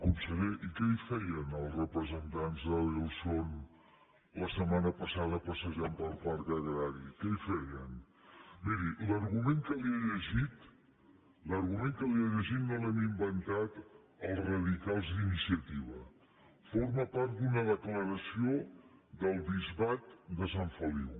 conseller i què hi feien els representants d’adelson la setmana passada passejant pel parc agrari què hi feien miri l’argument que li he llegit l’argument que li he llegit no l’hem inventat els radicals d’iniciativa forma part d’una declaració del bisbat de sant feliu